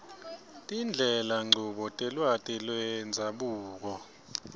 tindlelanchubo telwati lwendzabuko